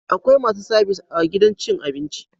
Akwai masu sabis a gidan cin abinci